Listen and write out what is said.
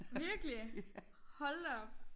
Virkelig? Hold da op